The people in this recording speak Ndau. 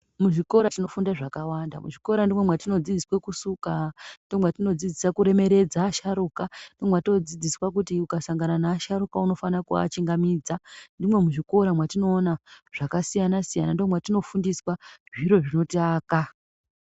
Muzvikora tinofundiswa zvakàwanda ndimi matinodzidziswa kusuka , kuremeredze asharukwa ,ukasangana neasharukwa unofana kuachungamidza ndimi matinofundiswa zviro zvinotiaka.